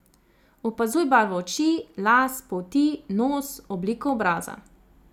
Opazuj barvo oči, las, polti, nos, obliko obraza ...